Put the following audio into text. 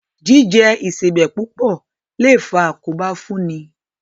Jíjẹ Ìṣebẹ̀ púpọ̀ lè faa àkóbá fún ni